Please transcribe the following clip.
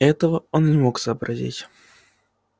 этого он не мог сообразить